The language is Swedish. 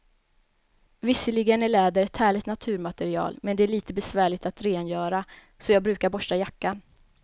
Visserligen är läder ett härligt naturmaterial, men det är lite besvärligt att rengöra, så jag brukar borsta jackan.